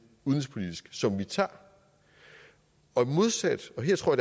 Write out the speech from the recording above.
som vi tager modsat og her tror